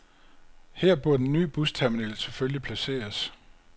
Her burde den ny busterminal selvfølgelig placeres.